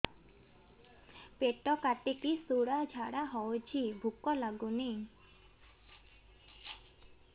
ପେଟ କାଟିକି ଶୂଳା ଝାଡ଼ା ହଉଚି ଭୁକ ଲାଗୁନି